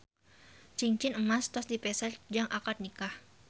Cingcin emas tos dipeser jang akad nikah